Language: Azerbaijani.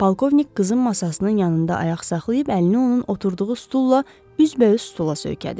Polkovnik qızın masasının yanında ayaq saxlayıb əlini onun oturduğu stulla üzbəüz stula söykədi.